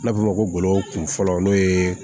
N b'a f'o ma ko kunfɔlɔ n'o ye